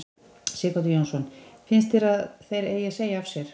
Sighvatur Jónsson: Finnst þér að þeir eigi að segja af sér?